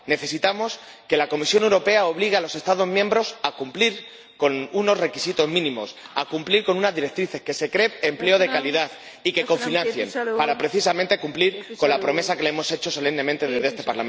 Necesitamos que la Comisión Europea obligue a los Estados miembros a cumplir con unos requisitos mínimos, a cumplir con unas directrices, que se cree empleo de calidad y que cofinancien, para precisamente cumplir con la promesa que les hemos hecho solemnemente desde este Parlamento Europeo.